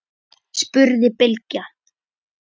spurði Bylgja.